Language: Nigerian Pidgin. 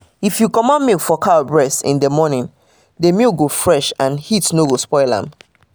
if you commot milk for cow breast in the morning the milk go fresh and heat no go spoil am